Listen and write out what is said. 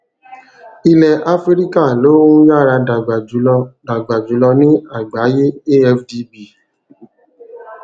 ilẹ áfíríkà ló ń yára dàgbà jùlọ dàgbà jùlọ ní àgbáyé afdb